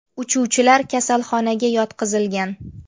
Uchuvchilar kasalxonaga yotqizilgan.